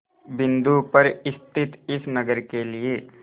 बिंदु पर स्थित इस नगर के लिए